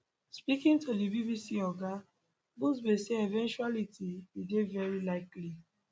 speaking to di bbc oga buzbee say eventuality e dey veri likely